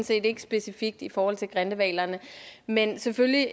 set ikke specifikt i forhold til grindehvalerne men selvfølgelig